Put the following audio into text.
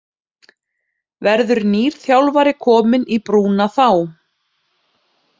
Verður nýr þjálfari kominn í brúna þá?